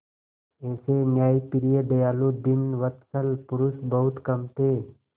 ऐसे न्यायप्रिय दयालु दीनवत्सल पुरुष बहुत कम थे